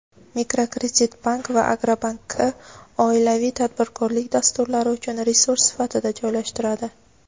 Mikrokreditbank va Agrobankka oilaviy tadbirkorlik dasturlari uchun resurs sifatida joylashtiradi.